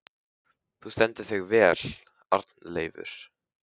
Þú stendur þig vel, Arnleifur!